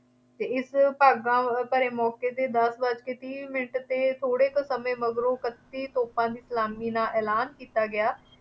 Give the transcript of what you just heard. ਅਤੇ ਇਸ ਭਾਗਾਂ ਭਰੇ ਮੌਕੇ ’ਤੇ ਦੱਸ ਵੱਜ ਕੇ ਤੀਹ ਮਿੰਟ 'ਤੇ ਥੋੜ੍ਹੇ ਕੁ ਸਮੇਂ ਮਗਰੋਂ ਇਕੱਤੀ ਤੋਪਾਂ ਦੀ ਸਲਾਮੀ ਨਾਲ ਐਲਾਨ ਕੀਤਾ ਗਿਆ।